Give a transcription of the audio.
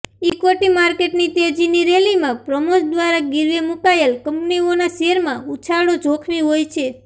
equity માર્કેટની તેજીની રેલીમાં પ્રમોર્સ દ્વારા ગીરવે મૂકાયેલ કંપનીઓના શેરમાં ઉછાળો જોખમી હોય છે